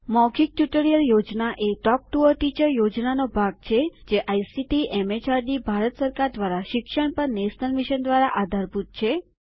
મૌખિક ટ્યુટોરીયલ યોજના એ ટોક ટુ અ ટીચર યોજનાનો ભાગ છે જે આઇસીટીએમએચઆરડીભારત સરકાર દ્વારા શિક્ષણ પર નેશનલ મિશન દ્વારા આધારભૂત છે